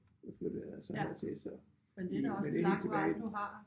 Flyttede jeg så hertil så i men det helt tilbage